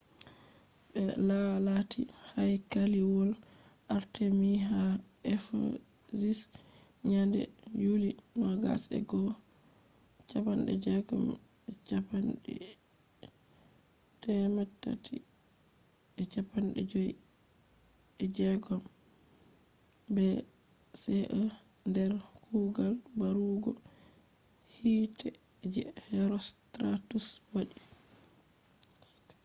be laalati haykaliwol artemis ha ephesus nyande yuli 21 356 bce nder kuugal barugo hiite je herostratus wadi